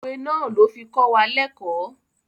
Òwe náà ló fi kọ́ wa lẹ́kọ̀ọ́.